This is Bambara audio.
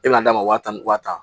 E bɛna d'a ma waa tan ni wa tan